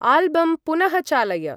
आल्बं पुनः चालय।